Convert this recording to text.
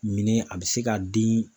Minɛn a bɛ se ka den